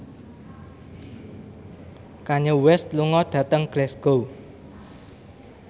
Kanye West lunga dhateng Glasgow